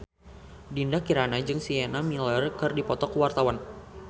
Dinda Kirana jeung Sienna Miller keur dipoto ku wartawan